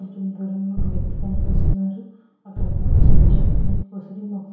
కొంచెం దూరంలోని ఒక వ్యక్తి కనిపిస్తూ ఉన్నాడు. అక్కడికి పచ్చని చెట్లు ఉసిరి మొక్కలు --